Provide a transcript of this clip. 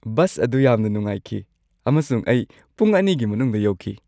Bus ꯑꯗꯨ ꯌꯥꯝꯅ ꯅꯨꯡꯉꯥꯏꯈꯤ ꯑꯃꯁꯨꯡ ꯑꯩ ꯄꯨꯡ ꯲ꯒꯤ ꯃꯅꯨꯡꯗ ꯌꯧꯈꯤ꯫